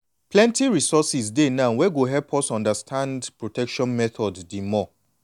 plenty resources dey now wey go help us understand protection methods the more.